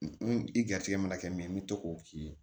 i garijɛgɛ mana kɛ mɛ n bɛ to k'o k'i ye